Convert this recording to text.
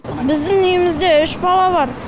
біздің үйімізде үш бала бар